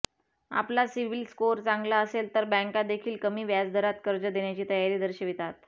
आपला CIBIL score चांगला असेल तर बॅंका देखील कमी व्याजदरात कर्ज देण्याची तयारी दर्शवितात